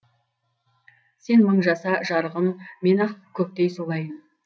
сен мың жаса жарығым мен ақ көктей солайын